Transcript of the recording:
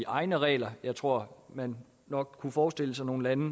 egne regler jeg tror at man nok kunne forestille sig nogle lande